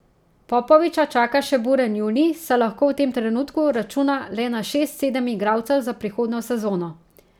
Popoviča čaka še buren junij, saj lahko v tem trenutku računa le na šest, sedem igralcev za prihodnjo sezono.